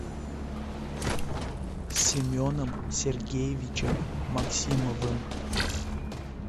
семеном сергеевичем максимовым